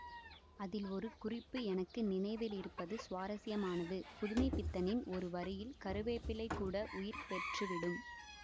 அதில் ஒரு குறிப்பு எனக்கு நினைவிலிருப்பது சுவாரஸ்யமானது புதுமைப்பித்தனின் ஒரு வரியில் கருவேப்பிலை கூட உயிர் பெற்றுவிடும்